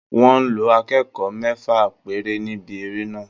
Wọ́n lo akẹ́kọ̀ọ́ mẹ́fà péré níbi eré náà